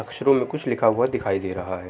अक्षरो में कुछ लिखा हुआ दिखाई दे रहा है।